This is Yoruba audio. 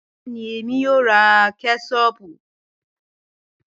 Bẹẹni, Emi yoo ra kẹṣọpu